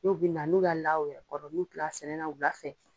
Dɔw bɛ na n'u y'a la u yɛrɛ kɔrɔ n'u tilala sɛnɛ na wula fɛ.